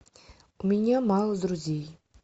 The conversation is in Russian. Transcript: у меня мало друзей